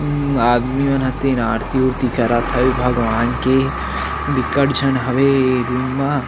हम्म आदमी मन ह तेन आरती उरति करत हवे भगवान के बिकट झन हवे ए रूम मा--